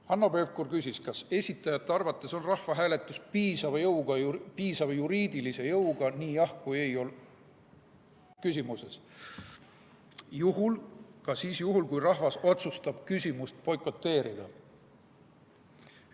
Hanno Pevkur küsis, kas esitajate arvates on rahvahääletus piisava juriidilise jõuga nii jah‑ kui ka ei‑vastuse puhul ja ka siis, kui rahvas otsustab küsimust boikoteerida.